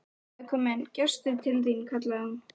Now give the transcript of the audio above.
Það er kominn gestur til þín, kallaði hún.